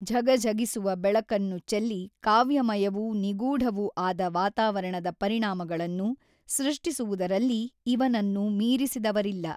ಝಗಝಗಿಸುವ ಬೆಳಕನ್ನು ಚೆಲ್ಲಿ ಕಾವ್ಯಮಯವೂ ನಿಗೂಢವೂ ಆದ ವಾತಾವರಣದ ಪರಿಣಾಮಗಳನ್ನು ಸೃಷ್ಟಿಸುವುದರಲ್ಲಿ ಇವನನ್ನು ಮೀರಿಸಿದವರಿಲ್ಲ.